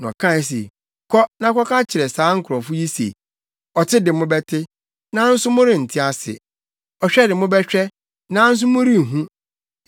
Na ɔkae se, “Kɔ na kɔka kyerɛ saa nkurɔfo yi se, “ ‘Ɔte de mobɛte, nanso morente ase; Ɔhwɛ de mobɛhwɛ, nanso morenhu.’